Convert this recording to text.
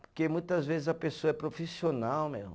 Porque muitas vezes a pessoa é profissional, meu.